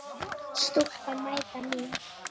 Stúlkan mæta mín.